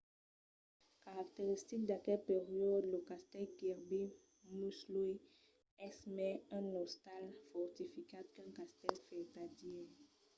caracteristic d’aquel periòde lo castèl kirby muxloe es mai un ostal fortificat qu’un castèl vertadièr